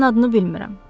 Sənin adını bilmirəm.